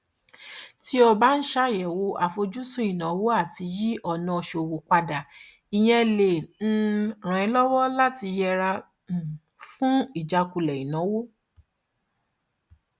tí o bá ń ṣàyẹwò àfojúsùn ìnáwó àti yí ọnà ṣòwò padà ìyẹn lè um ràn ẹ lọwọ láti yẹra um fún ìjákulẹ ìnáwó